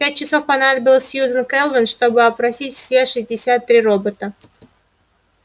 пять часов понадобилось сьюзен кэлвин чтобы опросить все шестьдесят три робота